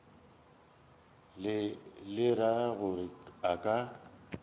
le ra gore a ka